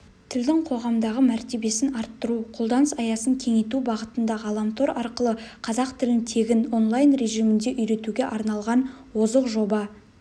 тілдің қоғамдағы мәртебесін арттыру қолданыс аясын кеңейту бағытында ғаламтор арқылы қазақ тілін тегін онлайн режимінде үйретуге арналған озық жоба